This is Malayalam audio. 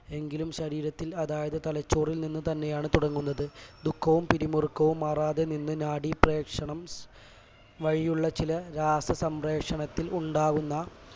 എങ്കിലും ശരീരത്തിൽ അതായത് തലച്ചോറിൽ നിന്നു തന്നെയാണ് തുടങ്ങുന്നത് ദുഖവും പിരിമുറുക്കവും മാറാതെ നിന്ന് നാഡീപ്രേക്ഷണം വഴിയുള്ള ചില രാസസംപ്രേഷണത്തിൽ ഉണ്ടാകുന്ന